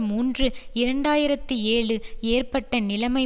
மூன்று இரண்டு ஆயிரத்தி ஏழு ஏற்பட்ட நிலைமை